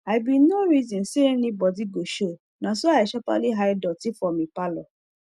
i bin nor reson say any bodi go show naso i sharperly hide doti for mi parlour